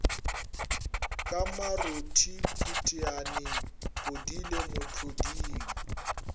ka marothi phutiane podile mohloding